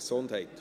Abstimmung